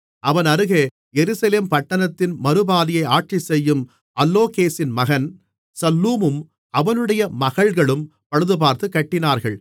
அவன் அருகே எருசலேம் பட்டணத்தின் மறுபாதியை ஆட்சி செய்யும் அல்லோகேசின் மகன் சல்லூமும் அவனுடைய மகள்களும் பழுதுபார்த்துக் கட்டினார்கள்